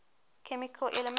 chemical elements